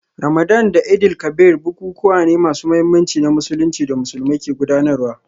Ramadan da Eid-el-Kabir bukukuwa ne masu muhimmanci na Musulunci da Musulmai ke gudanarwa